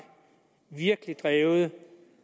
virkelig har drevet